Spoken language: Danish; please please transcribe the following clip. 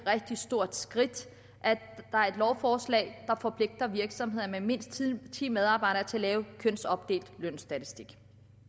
rigtig stort skridt at der er et lovforslag der forpligter virksomheder med mindst ti medarbejdere til at lave en kønsopdelt lønstatistik